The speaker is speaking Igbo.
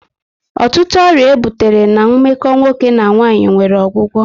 Ọtụtụ ọrịa e butere na meko nwoke na nwanyị nwere ọgwụgwọ